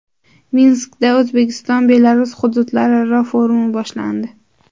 Minskda O‘zbekiston Belarus hududlararo forumi boshlandi.